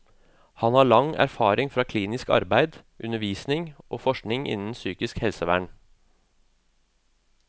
Han har lang erfaring fra klinisk arbeid, undervisning og forskning innen psykisk helsevern.